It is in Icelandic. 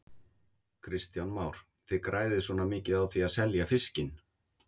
Kristján Már: Þið græðið svona mikið á því að selja fiskinn?